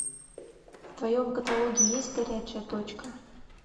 в твоем каталоге есть горячая точка